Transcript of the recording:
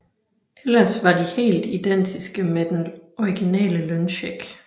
Ellers var de helt identiske med den originale løncheck